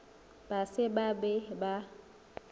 ba se ba be ba